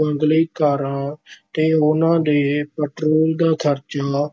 ਬੰਗਲੇ, ਕਾਰਾਂ ਤੇ ਉਹਨਾਂ ਦੇ ਪਟਰੋਲ ਦਾ ਖ਼ਰਚਾ,